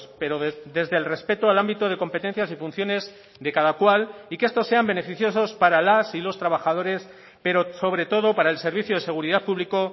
pero desde el respeto al ámbito de competencias y funciones de cada cual y que estos sean beneficiosos para las y los trabajadores pero sobre todo para el servicio de seguridad público